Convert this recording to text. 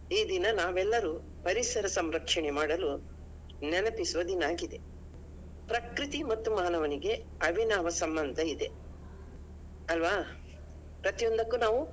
ಈ ದಿನ ನಾವೆಲ್ಲರೂ ಪರಿಸರ ಸಂರಕ್ಷಣೆ ಮಾಡಲು ನೆನಪಿಸುವ ದಿನ ಆಗಿದೆ. ಪ್ರಕೃತಿ ಮತ್ತು ಮಾನವನಿಗೆ ಅವಿನಾವ ಸಂಬಂಧ ಇದೆ ಅಲ್ವಾ? ಪ್ರತಿಯೊಂದಕ್ಕೂ ನಾವು.